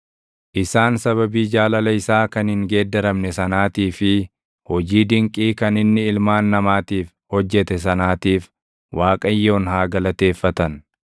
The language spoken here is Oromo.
Isaan sababii jaalala isaa kan hin geeddaramne sanaatii fi hojii dinqii kan inni ilmaan namaatiif hojjete sanaatiif // Waaqayyoon haa galateeffatan;